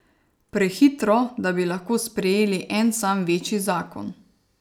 Prehitro, da bi lahko sprejeli en sam večji zakon.